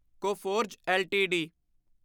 Coforge LTD